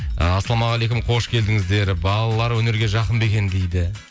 ы ассалаумағалейкум қош келдіңіздер балалар өнерге жақын ба екен дейді